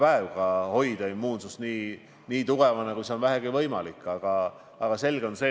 Üks minister on rääkinud hanerasvast, teine on rääkinud põhimõtteliselt viimsestpäevast.